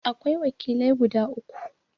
Akwai wakilai guda uku.